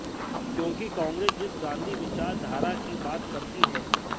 क्योंकि कांग्रेस जिस गांधी विचार धारा की बात करती है